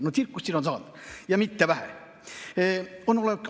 No tsirkust siin on saanud ja mitte vähe!